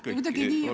Ja kuulan hoolega.